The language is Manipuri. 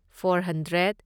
four hundred